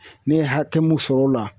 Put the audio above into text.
Ne ye hakɛ mun sɔr'o la